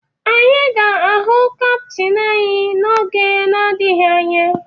Anyị ga-ahụ kaptịn anyị n'oge na-adịghị anya